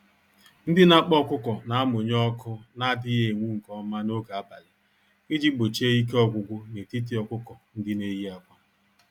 Ndị n'akpa ọkụkọ namụnye ọkụ n'adịghị enwu nke ọma n'oge abalị, iji gbochie ike ọgwụgwụ n'etiti ọkụkọ-ndị-neyi-ákwà.